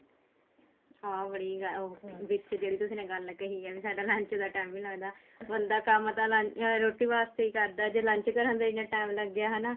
ਹਾਂ ਬੜੀ ਉਹ ਵੀ ਤੁਸੀਂ ਜਿਹੜੀ ਤੁਸੀਂ ਗੱਲ ਕਹੀ ਹੈ ਵੀ ਸਾਡਾ lunch ਦਾ time ਵੀ ਨਹੀਂ ਲੱਗਦਾ ਬੰਦਾ ਕੰਮ ਤਾਂ ਰੋਟੀ ਵਾਸਤੇ ਹੀ ਕਰਦਾ ਜ਼ੇ lunch ਕਰਨ ਦਾ ਹੀ ਇੰਨਾ time ਲੱਗ ਗਿਆ ਹਨਾ